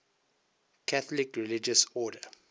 catholic religious order